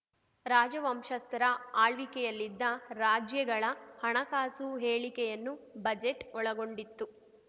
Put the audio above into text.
ರಾಜವಂಶಸ್ಥರ ಆಳ್ವಿಕೆಯಲ್ಲಿದ್ದ ರಾಜ್ಯಗಳ ಹಣಕಾಸು ಹೇಳಿಕೆಯನ್ನು ಬಜೆಟ್‌ ಒಳಗೊಂಡಿತ್ತು